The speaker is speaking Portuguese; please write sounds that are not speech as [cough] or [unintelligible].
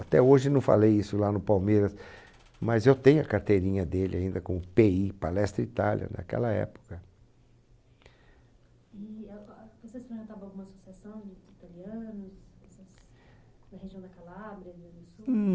Até hoje não falei isso lá no Palmeiras, mas eu tenho a carteirinha dele ainda com o PE I, Palestra Itália, naquela época. E, eh, ah, vocês frequentavam alguma associação de italianos? Essas, na região da Calabria, [unintelligible] do sul?